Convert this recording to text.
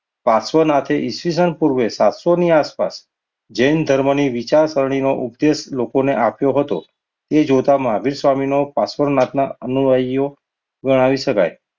પાશ્વનાથ પૂર્વે સાતસો ની આસપાસ જૈન ધર્મની વિચારસરણીમાં નો ઉદ્દેશ લોકોને આવ્યો હતો. એ જોતા મહાવીર સ્વામી નો પાશ્વનાથના અનુયાયીઓ ગણાવી શકાય.